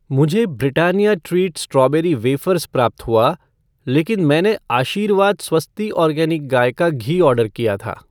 मुझे Britannia treat strawberry wafers प्राप्त हुआ लेकिन मैंने आशीर्वाद स्वस्ति ऑर्गेनिक गाय का घी का ऑर्डर किया था।